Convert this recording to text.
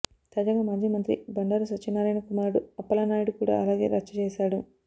తాజాగా మాజీ మంత్రి బండారు సత్యానారాయణ కుమారుడు అప్పలనాయుడు కూడా అలాగే రచ్చచేశాడు